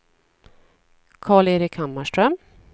Karl-Erik Hammarström